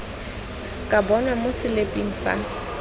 ka bonwa mo seliping sa